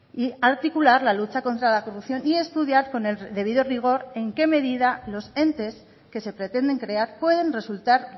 y articular la lucha contra la corrupción y estudiar con el debido rigor en qué medida los entes que se pretenden crear pueden resultar